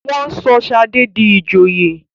wón sọ Shade dì ìjòyè